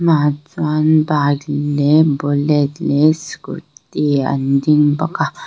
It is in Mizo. bike leh bullet leh scooty an ding bawk a.